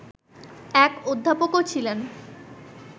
এক অধ্যাপকও ছিলেন